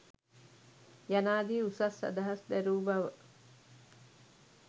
යනාදී උසස් අදහස් දැරූ බව